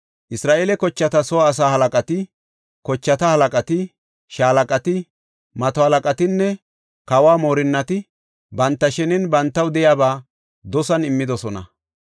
Isra7eele kochata soo asaa halaqati, kochata halaqati, shaalaqati, mato halaqatinne kawo moorinnati banta shenen bantaw de7iyaba dosan immidosona.